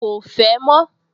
Ko fẹ́ mọ́